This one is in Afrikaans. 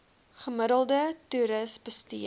gemiddelde toeris bestee